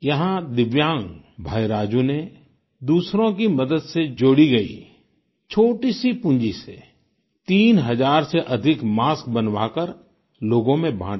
यहाँ दिव्यांग भाई राजू ने दूसरों की मदद से जोड़ी गई छोटी सी पूंजी से तीन हजार से अधिक मास्क बनवाकर लोगों में बांटे